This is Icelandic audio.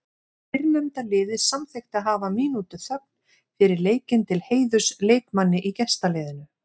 Fyrrnefnda liðið samþykkti að hafa mínútu þögn fyrir leikinn til heiðurs leikmanni í gestaliðinu.